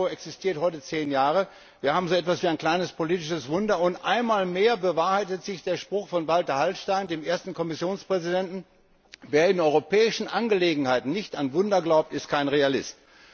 Der Euro existiert heute zehn Jahre. Wir haben so etwas wie ein kleines politisches Wunder, und einmal mehr bewahrheitet sich der Spruch von Walter Hallstein, dem ersten Kommissionspräsidenten Wer in europäischen Angelegenheiten nicht an Wunder glaubt, ist kein Realist.